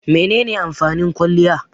Menene amfanin kwaliya?